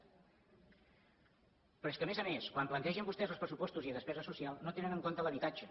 però és que a més a més quan plantegen vostès els pressupostos i despesa social no tenen en compte l’habitatge